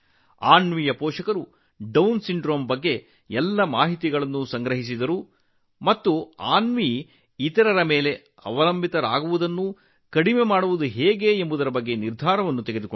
ಅನ್ವಿಯ ಪೋಷಕರು Down syndrome ಬಗ್ಗೆ ಎಲ್ಲಾ ಮಾಹಿತಿಯನ್ನು ಸಂಗ್ರಹಿಸಿದರು ಮತ್ತು ನಂತರ ಅನ್ವಿ ಇತರರ ಮೇಲೆ ಅವಲಂಬಿತಳಾಗುವುದನ್ನು ಕಡಿಮೆ ಮಾಡುವ ಮಾರ್ಗವನ್ನು ಹುಡುಕಿದರು